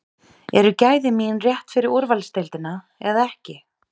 Eru gæði mín rétt fyrir úrvalsdeildina eða ekki?